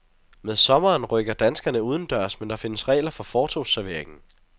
Med sommeren rykker danskerne udendørs, men der findes regler for fortovsserveringen.